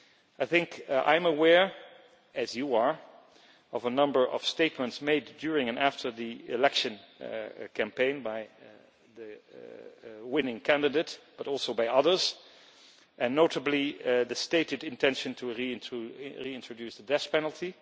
I am aware, as you are, of a number of statements made during and after the election campaign by the winning candidate, but also by others, and notably the stated intention to reintroduce the death penalty.